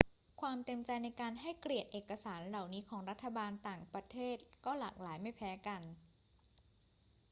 ความเต็มใจในการให้เกียรติเอกสารเหล่านี้ของรัฐบาลต่างประเทศก็หลากหลายไม่แพ้กัน